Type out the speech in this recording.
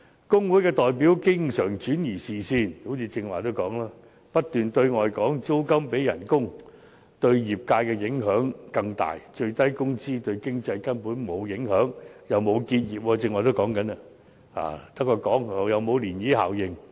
工會代表經常轉移視線，正如剛才所說，他們不斷對外聲稱租金比工資對業界的影響更大，而最低工資對經濟根本沒有影響，既沒有導致結業——剛才也談及這一點，空口說白話——亦沒有漣漪效應。